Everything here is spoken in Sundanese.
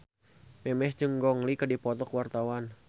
Memes jeung Gong Li keur dipoto ku wartawan